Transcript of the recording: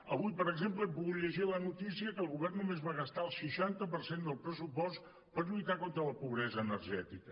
avui per exemple hem pogut llegir la notícia que el govern només va gastar el seixanta per cent del pressupost per lluitar contra la pobresa energètica